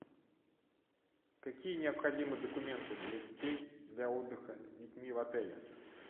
какие необходимы документы для детей для отдыха с детьми в отеле